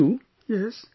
To your mother too